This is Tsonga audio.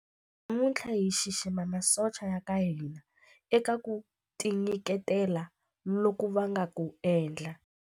Namuntlha hi xixima masocha ya ka hina eka ku tinyiketela loku va nga ku endla.